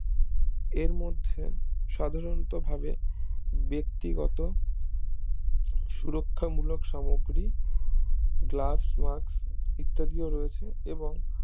এর মধ্যে সাধারণত ভাবে ব্যক্তিগত সুরক্ষা মূলক সামুগ্রী গ্লাপ্স মাস্ক ইত্যাদিও রয়েছে এবং